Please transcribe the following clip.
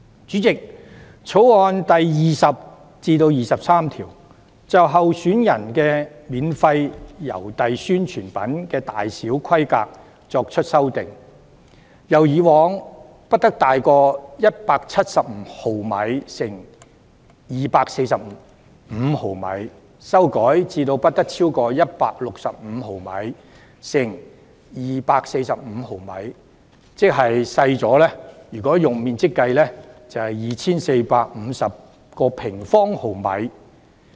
主席，《條例草案》第20至23條就候選人的免費郵遞宣傳品的大小規格作出修訂，由以往不得超過175毫米乘245毫米，修改至不得超過165毫米乘245毫米。若以面積計算，即是減少了 2,450 平方毫米。